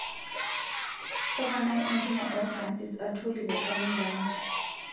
toponai entumo o francis atwoli te kalenda ai